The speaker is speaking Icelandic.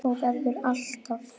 Og verður alltaf.